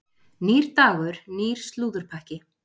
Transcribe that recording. Nýr dagur, nýr slúðurpakki.